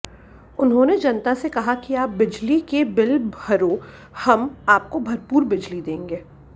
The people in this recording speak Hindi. उन्होंने जनता से कहा कि आप बिजली के बिल भरोए हम आपको भरपूर बिजली देंगे